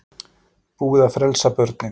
Búið að frelsa börnin